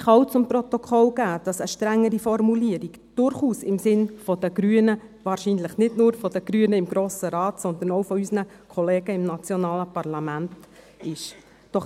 Ich kann auch zu Protokoll geben, dass eine strengere Formulierung durchaus im Sinne der Grünen – wahrscheinlich nicht nur der Grünen im Grossen Rat, sondern auch unserer Kollegen im nationalen Parlament – ist.